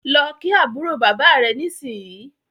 lọ kí àbúrò bàbá rẹ nisinyi!